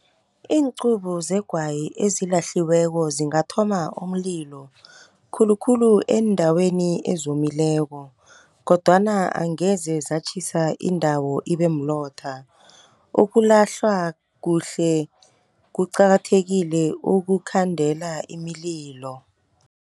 Iincubo zegwayi ezilahliweko zingathoma umlilo, khulukhulu eendaweni ezomileko. Kodwana angeze zatjhisa indawo ibe mlotha. Ukulahlwa kuhle kuqakathekile ukukhandela imililo.